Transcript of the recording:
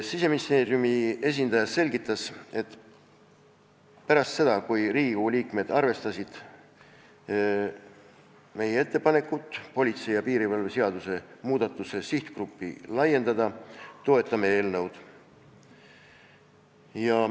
Siseministeeriumi esindaja selgitas, et pärast seda, kui Riigikogu liikmed arvestasid meie ettepanekut politsei ja piirivalve seaduse muudatuse sihtgruppi laiendada, toetame eelnõu.